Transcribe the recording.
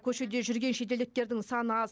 көшеде жүрген шетелдіктердің саны аз